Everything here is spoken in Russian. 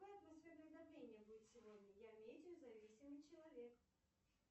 какое атмосферное давление будет сегодня я метеозависимый человек